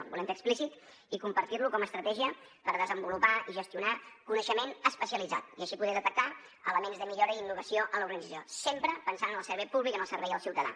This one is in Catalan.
el volem fer explícit i compartir lo com a estratègia per desenvolupar i gestionar coneixement especialitzat i així poder detectar elements de millora i innovació en l’organització sempre pensant en el servei públic en el servei al ciutadà